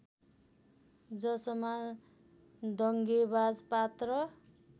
जसमा दङ्गेबाज पात्र